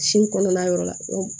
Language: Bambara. Sin kɔnɔna yɔrɔ la